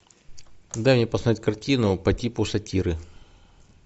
дай мне посмотреть картину по типу сатиры